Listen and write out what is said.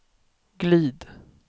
glid